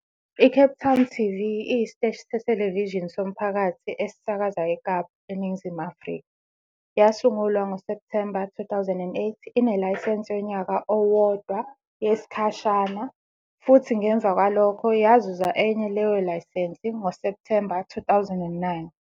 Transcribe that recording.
ICape Town TV iyisiteshi sethelevishini somphakathi esisakaza eKapa, eNingizimu Afrika. Yasungulwa ngoSepthemba 2008 inelayisense yonyaka owodwa, "yesikhashana" futhi ngemuva kwalokho yazuza enye leyo layisense ngoSepthemba 2009.